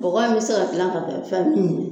Bɔgɔ in bɛ se ka gilan ka kɛ fɛn min ye.